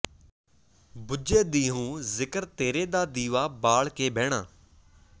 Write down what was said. ਬੁੱਝੇ ਦਿਹੁੰ ਜ਼ਿਕਰ ਤੇਰੇ ਦਾ ਦੀਵਾ ਬਾਲ ਕੇ ਬਹਿਣਾ